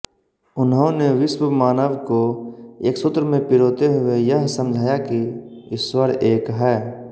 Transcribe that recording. उन्होंने विश्व मानव को एक सूत्र में पिरोते हुए यह समझाया कि ईश्वर एक है